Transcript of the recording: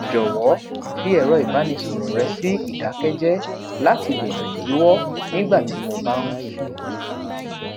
jọwọ fi ẹrọ ìbánisọrọ rẹ sí idakẹjẹ lati dènà idiwọ nígbà tí mo bá n sùn